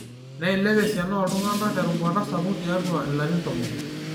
niilep esiana oo iltung'anak te rubata sapuk tiatua ilarin tomon